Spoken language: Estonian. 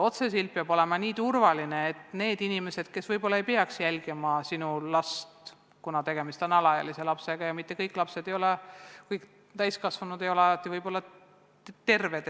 See peab olema nii turvaline, et need inimesed, kes sinu last jälgima ei peaks, seda ka ei teeks, kuna tegemist on alaealise lapsega ja mitte kõik täiskasvanud ei ole alati võib-olla terved.